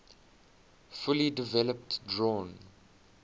fully developed drawn